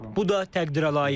Bu da təqdirə layiqdir.